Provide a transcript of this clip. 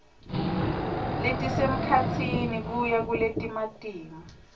letisemkhatsini kuya kuletimatima